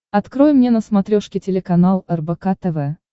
открой мне на смотрешке телеканал рбк тв